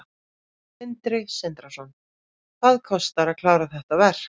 Sindri Sindrason: Hvað kostar að klára þetta verk?